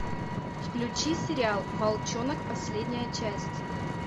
включи сериал волчонок последняя часть